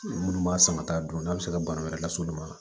Minnu b'a san ka taa dun n'a bɛ se ka bana wɛrɛ lase olu ma